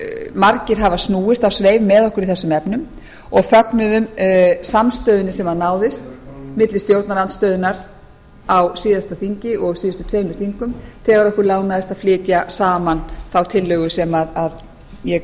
margir hafa snúist á sveif með okkur í þessum efnum og fögnuðum samstöðunni sem náðist milli stjórnarandstöðunnar á síðasta þingi og síðustu tveimur þingum þegar okkur lánaðist að flytja saman þá tillögu sem ég